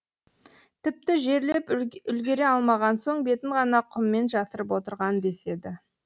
тіпті жерлеп үлгере алмаған соң бетін ғана құммен жасырып отырған деседі